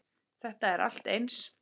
Þetta er allt eins!